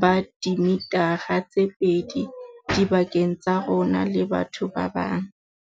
ba dimithara tse pedi dipakeng tsa rona le batho ba bang.